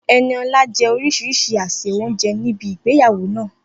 Enioluwa jẹ orísìírísìí àsè oúnjẹ ní ibi ìgbéyàwó náà.